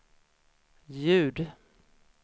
ljud